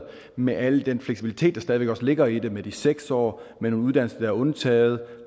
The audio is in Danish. med al den fleksibilitet der stadig væk ligger i det med de seks år med nogle uddannelser der er undtaget